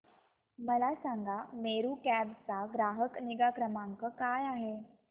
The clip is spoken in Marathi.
मला सांगा मेरू कॅब चा ग्राहक निगा क्रमांक काय आहे